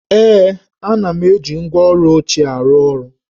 Ee, ana m eji ngwá ọrụ ochie arụ ọrụ